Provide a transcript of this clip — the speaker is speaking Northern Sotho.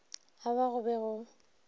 a wa go be go